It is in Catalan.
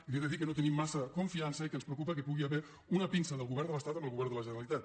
i li he de dir que no tenim massa confiança i que ens preocupa que hi pugui haver una pinça del govern de l’estat amb el govern de la generalitat